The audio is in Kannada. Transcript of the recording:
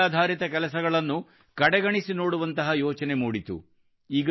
ಕೌಶಲ್ಯಾಧಾರಿತ ಕೆಲಸಗಳನ್ನು ಕಡೆಗಣಿಸಿನೋಡುವಂತಹ ಯೋಚನೆ ಮೂಡಿತು